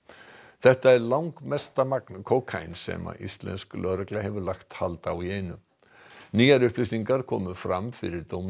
þetta er langmesta magn kókaíns sem íslensk lögregla hefur lagt hald á í einu nýjar upplýsingar komu fram fyrir dóminum